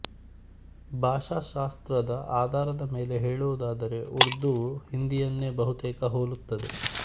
ಭಾಷಾಶಾಸ್ತ್ರದ ಅಧಾರದ ಮೇಲೆ ಹೇಳುವುದಾದರೆ ಉರ್ದುವು ಹಿಂದಿಯನ್ನೇ ಬಹುತೇಕ ಹೋಲುತ್ತದೆ